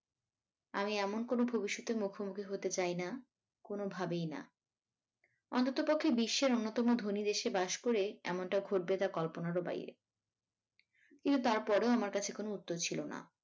আমি এমন কোনো ভবিষ্যতের মুখোমুখি হতে চাইনা কোনোভাবেই না অন্ততপক্ষে বিশ্বের অন্যতম ধনী দেশে বাস করে এমনটা ঘটবে তা কল্পনারও বাইরে কিন্তু তার পরেও আমার কাছে কোনো উত্তর ছিল না।